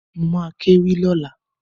Mo ma kéwì lọ́la